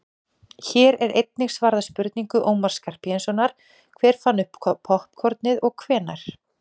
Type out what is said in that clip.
hér er einnig svarað spurningu ómars skarphéðinssonar „hver fann upp poppkornið og hvenær“